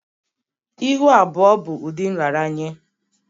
Ihu abụọ bụ ụdị nraranye